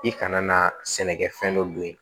I kana na sɛnɛkɛfɛn dɔ don ye